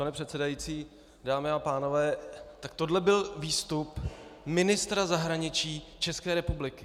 Pane předsedající, dámy a pánové, tak tohle byl výstup ministra zahraničí České republiky...